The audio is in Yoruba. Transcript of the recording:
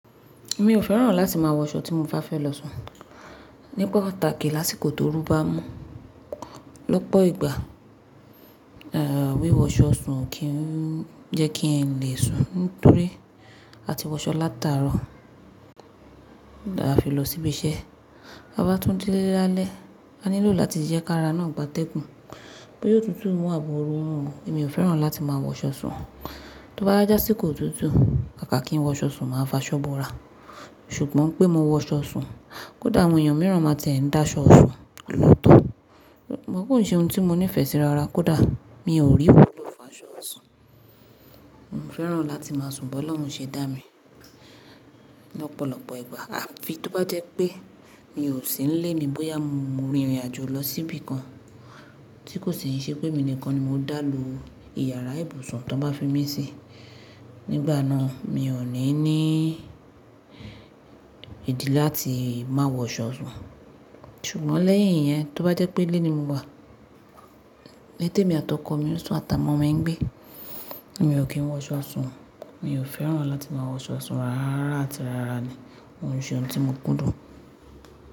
Mi ò fẹ́ràn láti máa wọṣọ tí mo bá fẹ́ lọ sùn. Ní pàtàkì lásìkò tóorú bá mú, lọ́pọ̀ ìgbà, wíwọṣọ sùn kì í jẹ́ kí ẹ̀n lè sùn nítorí a ti wọṣọ látàárọ̀, à fi lọ síbí iṣẹ́. Bá bá tún dín lé lálẹ́, a nílò láti jẹ́ ká ra náà gba tẹ́gùn bó yóò tútù mú àbọ̀rọ́ rún. Èmi ò fẹ́ràn láti máa wọṣọ sùn. Tó báwa je asíkò otútù, kàká kí n wọṣọ sùn máa fàṣọ́ bọ̀rà. Ṣùgbọ́n pé mo wọṣọ sùn, kódà àwọn èèyàn mìíràn máa tiẹ́ n dàṣọ isùn lọ́tọ̀. Ṣùgbọ́n kò nṣe ohun tí mo nífẹ̀ẹ́ sí ara kódà mi ò rí iwulọ fà ṣọ isùn. Mo fẹ́ràn láti máa sùn bó Ọlọ́run ṣe dá mi lọ́pọ̀lọ́pọ̀ ìgbà. À fi tó bá jẹ́ pé mi ò sí ń lé mi bóyá mo rin ìrìnàjò lọ síbí kan tí kò sì ń ṣe pémi nìkan ni mo dá lo ìyàrá ibùsùn tó bá fi mí síi. Nígbà náà mi ò ní ní ìdí láti má wọ ṣọ sùn. Ṣùgbọ́n lẹ́yìn iyẹn tó bá jẹ́ pé ilé mi mo wà, ní tèmi àtọkọ̀ mi ń sùn àtàwọn ọmọ mi ń gbé, mi ò kí ń wọ ṣọ sùn. Mi ò fẹ́ràn láti máa wọ ṣọ sùn rárá àti rárá ni. KÓ nṣe ohun tí mo kúndùn.